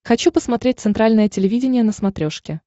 хочу посмотреть центральное телевидение на смотрешке